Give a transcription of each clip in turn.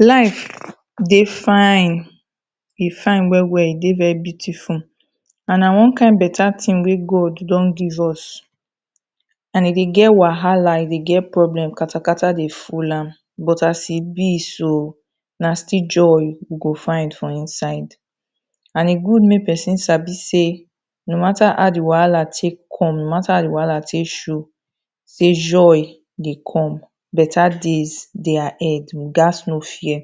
Life dey fine, e fine well well, e dey very beautiful, and na one kind better thing wey God don give us and e dey get wahala, e dey get problem and kata kata dey full am but as e be so, na still joy we go find for inside, and e good make person Sabi sey no matter how di wahala take come, no matter how di wahala take show, sey joy dey come, better days dey ahead, we gats no fear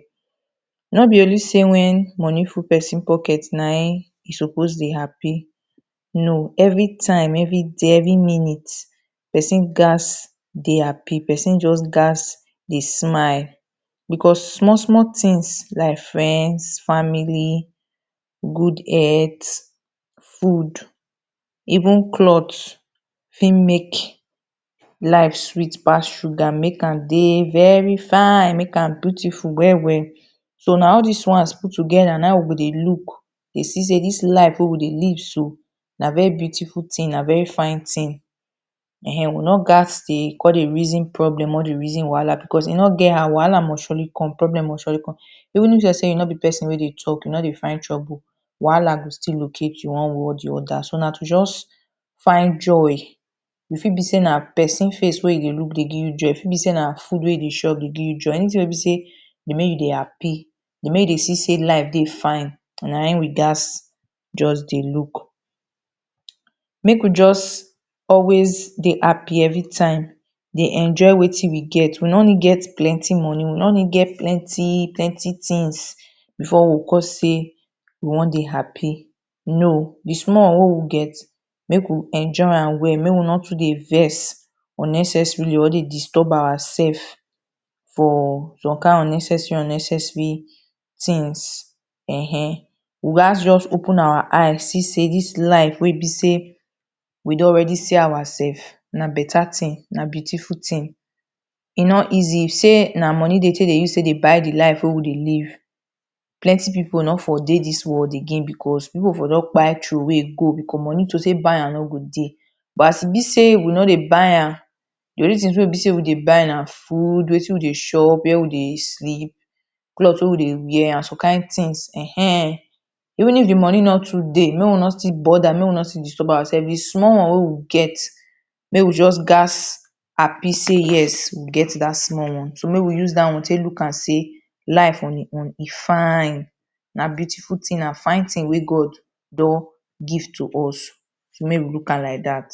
No be only sey when money full person pocket naim e suppose dey happy, no Everytime, every day, every minute, person gats dey happy, person just gats dey smile because small small things like friends, family, good health, food, even cloth fit make life sweet pass sugar, make am dey very fine, make am beautiful well well So na all these ones put together naim we go dey look, dey see sey this life wey we dey live so, na very beautiful thing, na very fine thing Ehen, we no gats dey come dey reason problem, come dey reason wahala E no get how, wahala must surely come, problem must surely come Even if you nor be person wey dey talk, nor dey find trouble, wahala go still locate you one way or the other so na to just find joy, e fit be sey na person face wey you dey look dey give you joy, e fit be sey na food wey you dey eat dey give you joy, anything wey be sey dey make you dey happy, dey make you dey see sey life dey fine, naim we gats just dey look. Make we just always dey happy everytime, dey enjoy wetin we get, we nor need get plenty money, we nor need get plenty things before we go come sey we wan dey happy, no, di small sey we get, make we enjoy am well make we nor too dey vex unnecessarily, nor dey disturb ourselves, for some kind unnecessary unnecessary things, when We gats just open our eye see sey this life wey be sey we don already see our self, na better thing, na beautiful thing, e no easy, if sey na money dem take dey buy the life wey we dey live, plenty people no for dey this world again because people for don kpai throwey go because money to take buy am no go dey, but as e be sey we no dey buy am, the only things wey we dey buy na food, wetin we dey chop, where we dey sleep, cloth wey we dey wear, and some kind things, eheh Even if the money no too dey, make we no too bother, make we no too disturb ourselves, Fi small one wey we get, make wey just gats happy sey yes, we get that small one, so make you use that one take look am sey life on e own, e fine, na beautiful thing, na good thing wey God don give to us, so make we look am like that.